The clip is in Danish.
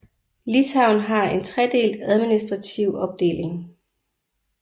Litauen har en tredelt administrative opdeling